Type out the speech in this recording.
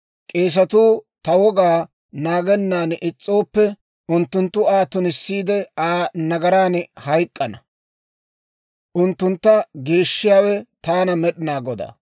« ‹K'eesetuu ta wogaa; naagennan is's'ooppe, unttunttu Aa tunissiide Aa nagaran hayk'k'ana. Unttuntta geeshshiyaawe Taana Med'inaa Godaa.